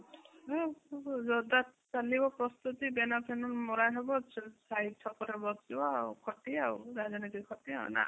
ଜୋରଦାର ଚାଲିବ ପ୍ରସ୍ତୁତି banner ଫାନ୍ନର ମରାହବ ସାହି ଛକରେ ବସିବା ଆଉ ଖଟି ଆଉ ରାଜନୀତି ଖଟି ଆଉ ନା ?